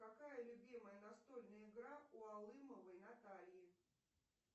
какая любимая настольная игра у алымовой натальи